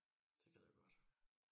Det gad jeg godt